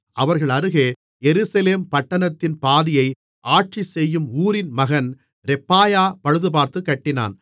அவர்கள் அருகே எருசலேம் பட்டணத்தின் பாதியை ஆட்சி செய்யும் ஊரின் மகன் ரெப்பாயா பழுதுபார்த்துக்கட்டினான்